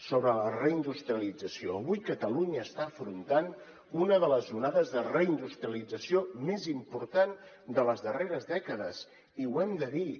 sobre la reindustrialització avui catalunya està afrontant una de les onades de reindustrialització més important de les darreres dècades i ho hem de dir